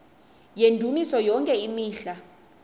yendumiso yonke imihla